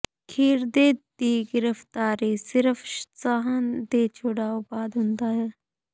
ਖਿਰਦੇ ਦੀ ਗ੍ਰਿਫਤਾਰੀ ਸਿਰਫ ਸਾਹ ਦੇ ਛੁਡਾਊ ਬਾਅਦ ਹੁੰਦਾ ਹੈ